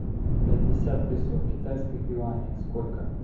пятьдесят песо в китайских юанях сколько